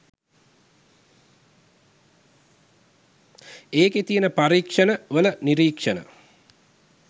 එකේ තියන පරීක්ෂණ වල නිරීක්ෂණ